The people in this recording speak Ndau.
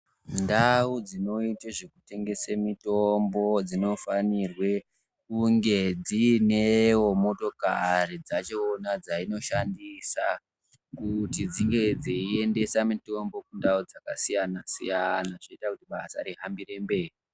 Ndau dzinoite zvekutengese mitombo dzinofanirwe kunge dziinewo motokari dzachona dzainoshandisa kuti dzinge dzeiendesa mitombo kundau dzakasiyana siyana zvoita kuti basa rihambire mberi.